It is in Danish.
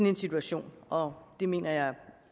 en situation og det mener jeg